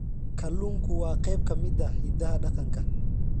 Kalluunku waa qayb ka mid ah hidaha dhaqanka.